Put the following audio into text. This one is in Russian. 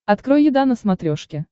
открой еда на смотрешке